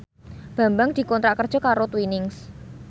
Bambang dikontrak kerja karo Twinings